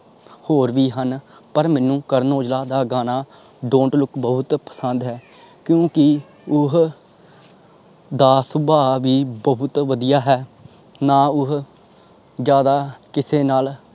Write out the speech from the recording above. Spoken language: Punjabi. ਹੋਰ ਵੀ ਹਨ ਪਰ ਮੈਨੂੰ ਕਰਨ ਔਜਲਾ ਦਾ ਗਾਣਾ don't look ਬਹੁਤ ਪਸੰਦ ਹੈ ਕਿਊ ਕਿ ਉਹ ਦਾ ਸੁਬਾ ਵੀ ਬਹੁਤ ਵਧਿਆ ਹੈ ਨਾ ਉਹ ਜ਼ਿਆਦਾ ਕਿਸੇ ਨਾਲ।